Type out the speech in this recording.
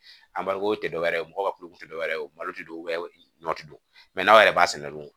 Anba ko te dɔwɛrɛ ye mɔgɔ ka kulo kun te dɔwɛrɛ ye o malo te don don mɛ n'aw yɛrɛ b'a sɛnɛ dun